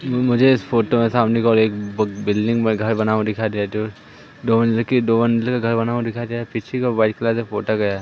मुझे इस फोटो में सामने की ओर एक बिल्डिंग में घर बना हुआ दिखाई दे रहा जो दो मंजिल की दो मंजिल का घर बना हुआ दिखाई दे रहा पीछे का व्हाइट कलर का पोता गया है।